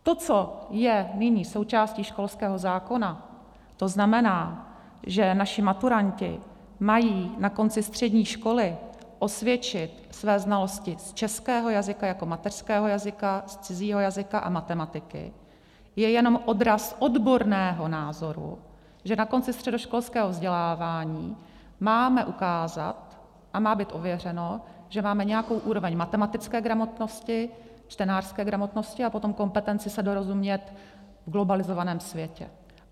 To, co je nyní součástí školského zákona, to znamená, že naši maturanti mají na konci střední školy osvědčit své znalosti z českého jazyka jako mateřského jazyka, z cizího jazyka a matematiky, je jenom odraz odborného názoru, že na konci středoškolského vzdělávání máme ukázat a má být ověřeno, že máme nějakou úroveň matematické gramotnosti, čtenářské gramotnosti a potom kompetenci se dorozumět v globalizovaném světě.